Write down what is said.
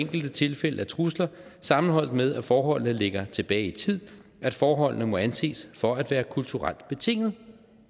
enkelte tilfælde af trusler sammenholdt med at forholdene ligger tilbage i tid at forholdene må anses for at være kulturelt betinget